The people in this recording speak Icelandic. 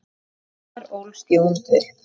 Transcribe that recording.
Þar ólst Jón upp.